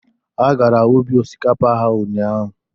Ha gara ubi osikapa ha ụnyaahụ.